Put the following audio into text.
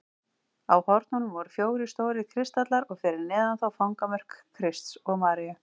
Á hornunum voru fjórir stórir kristallar og fyrir neðan þá fangamörk Krists og Maríu.